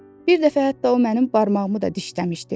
Bir dəfə hətta o mənim barmağımı da dişləmişdi.